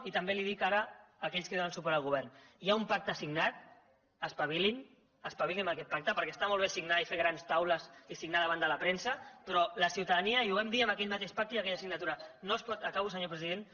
i també dic ara a aquells que donen suport al govern hi ha un pacte signat espavilin espavilin amb aquest pacte perquè està molt bé signar i fer grans taules i signar davant de la premsa però la ciutadania i ho vam dir en aquell mateix pacte i aquella signatura no es pot acabo senyor president